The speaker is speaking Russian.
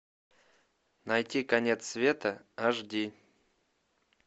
найти конец света аш ди